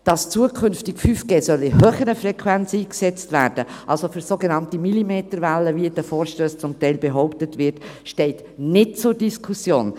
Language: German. Dass 5G zukünftig in höheren Frequenzen eingesetzt werden soll, also mit sogenannten Millimeterwellen, wie in den Vorstössen zum Teil behauptet wird, steht nicht zur Diskussion.